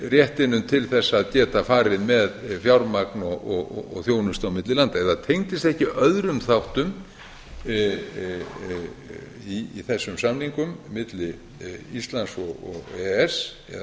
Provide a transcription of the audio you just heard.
réttinum til að geta farið með fjármagn og þjónustu á milli landa eða tengdist ekki öðrum þáttum í þessum samningum milli íslands og e e s eða sem við höfum